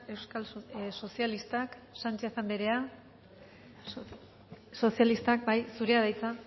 euskal sozialistak sánchez andrea sozialistak bai zurea da hitza